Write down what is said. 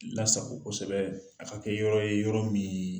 Lasago kosɛbɛ a ka kɛ yɔrɔ ye yɔrɔ min ye